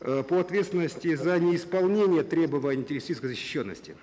э по ответственности за неисполнение требований террористической защищенности